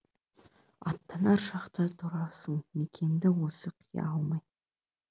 аттанар шақта тұрасың мекенді осы қия алмай